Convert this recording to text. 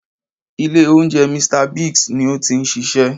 Ilé oúnjẹ "Mr Biggs ni ó ti n ṣiṣẹ́